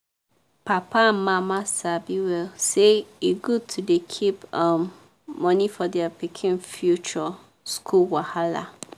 papa and mama sabi well say e good to dey keep um money for their pikin future school wahala.